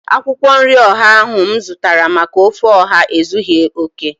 Akwụkwọ nri ọha ahu mụ zụtara maka ofe ọha ezughị okè